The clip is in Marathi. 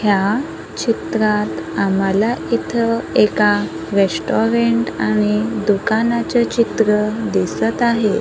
या चित्रात आम्हाला इथ एका रेस्टॉरंट आणि दुकानाचं चित्र दिसत आहे.